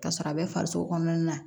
Ka sɔrɔ a bɛ farisogo kɔnɔna na